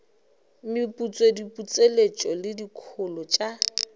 meputso diputseletšo le dikholo tša